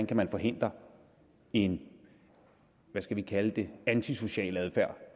kan forhindre en hvad skal vi kalde det antisocial adfærd